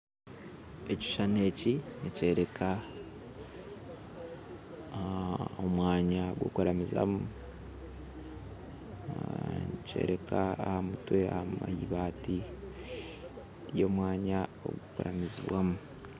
Ekishuushani eki nikyoreka omwanya gw'okuramizaamu nikyoreka ahamutwe aha ibaati ry'omwanya ogw'okuramizamu